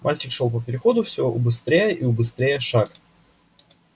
мальчик шёл по переходу всё убыстряя и убыстряя шаг